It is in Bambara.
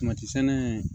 sɛnɛ